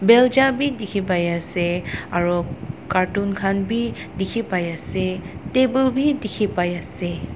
belja bi dikhipaiase aro carton khan bi dikhipaiase table bi dikhipaiase.